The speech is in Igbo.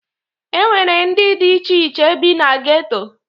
E nwere ndị dị iche iche bi na geto